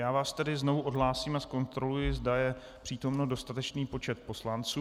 Já vás tedy znovu odhlásím a zkontroluji, zda je přítomný dostatečný počet poslanců.